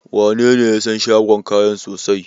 Wanene ya san shagon kayan sosai?